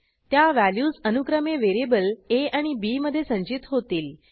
त्या व्हॅल्यूज अनुक्रमे व्हेरिएबल आ आणि bमधे संचित होतील